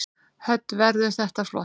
Hödd: Verður þetta flott?